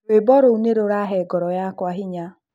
Rũimbo rũu nĩ rũraahe ngoro yakwa hinya.